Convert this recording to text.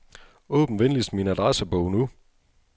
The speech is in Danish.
Åbn venligst min adressebog nu.